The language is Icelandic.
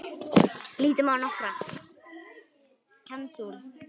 Lítum á nokkra.